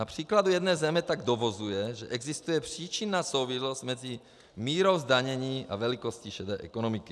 Na příkladu jedné země tak dovozuje, že existuje příčinná souvislost mezi mírou zdanění a velikostí šedé ekonomiky.